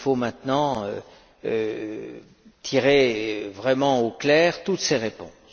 Il faut maintenant tirer vraiment au clair toutes ces réponses.